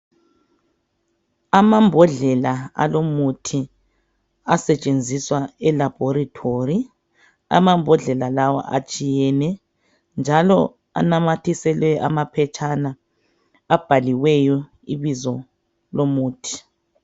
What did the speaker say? Amambodlela alomuthi asetshenziswa elabhorithori, amambodlela lawa atshuiyne njalo anamathiselwe amaphetshana abhaliweyo ibizo lomuthi.